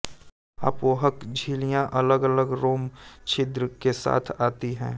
अपोहक झिल्लियां अलगअलग रोम छिद्र के साथ आती हैं